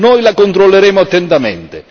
Noi La controlleremo attentamente.